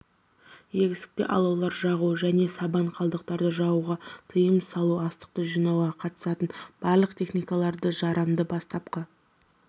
егістікте алаулар жағу және сабан қалдықтарды жағуға тиым салу астықты жинауға қатысатын барлық техникаларды жарамды бастапқы